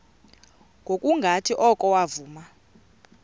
ngokungathi oko wavuma